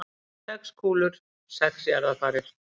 Sex kúlur, sex jarðarfarir.